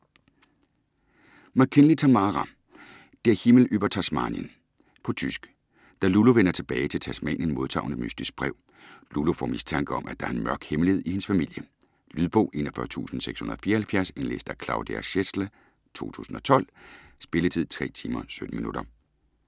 MacKinley, Tamara: Der Himmel über Tasmanien På tysk. Da Lulu vender tilbage til Tasmanien, modtager hun et mystisk brev. Lulu får mistanke om, at der er en mørk hemmelighed i hendes familie. Lydbog 41674 Indlæst af Claudia Schätzle, 2012. Spilletid: 3 timer, 17 minutter.